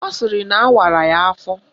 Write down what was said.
Ọ sịrị na awara ya afọ